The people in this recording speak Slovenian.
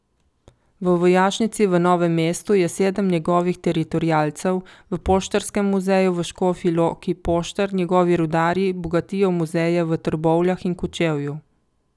V vojašnici v Novem mestu je sedem njegovih teritorialcev, v poštarskem muzeju v Škofji Loki poštar, njegovi rudarji bogatijo muzeja v Trbovljah in Kočevju.